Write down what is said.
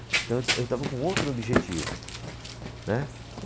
Então eu, eu estava com outro objetivo, né.